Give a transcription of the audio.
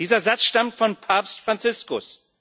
Dieser Satz stammt von Papst Franziskus.